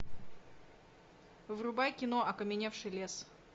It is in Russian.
врубай кино окаменевший лес